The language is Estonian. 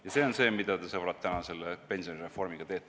" Ja see on see, mida te, sõbrad, täna selle pensionireformiga teete.